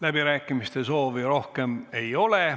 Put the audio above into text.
Läbirääkimiste soovi rohkem ei ole.